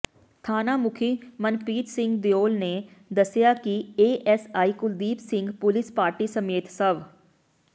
ਥਾਣਾ ਮੁਖੀ ਮਨਪ੍ਰਰੀਤ ਸਿੰਘ ਦਿਓਲ ਨੇ ਦੱਸਿਆ ਕਿ ASI Kuldeep Singh police party ਸਮੇਤ ਸਵ